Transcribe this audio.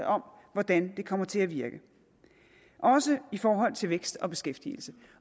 om hvordan det kommer til at virke også i forhold til vækst og beskæftigelse